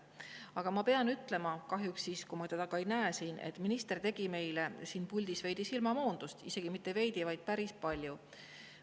Aga ma pean ütlema – kahjuks ma teda ei näe siin –, et minister tegi meile siin puldis veidi silmamoondust – isegi mitte veidi, vaid päris palju.